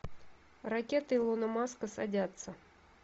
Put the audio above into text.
ракеты илона маска садятся